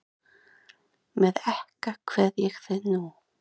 Með ekka kveð ég þig nú.